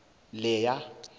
leya